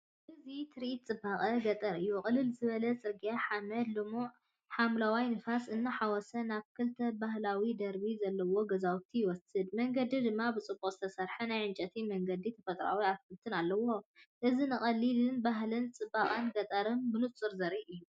እዚ ትርኢት ጽባቐ ገጠር እዩ። ቅልል ዝበለ ጽርግያ ሓመድ ልሙዕ ሓምላይ ንፋስ እናተሓወሶ ናብ ክልተ ባህላዊ ደርቢ ዘለዎም ገዛውቲ ይወስድ። መንገዲ ድማ ብጽቡቕ ዝተሰርሑ ናይ ዕንጨይቲ መገድታትን ተፈጥሮኣዊ ኣትክልትን ኣለዉ። እዚ ንቐሊልነትን ባህልን ጽባቐ ገጠርን ብንጹር ዘርኢ እዩ።